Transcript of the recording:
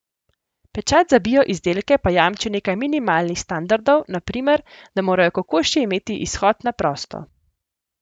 Pečat za bio izdelke pa jamči nekaj minimalnih standardov, na primer, da morajo kokoši imeti izhod na prosto.